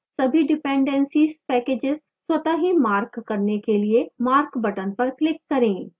सभी dependencies packages स्वतः ही mark करने के लिए mark button पर click करें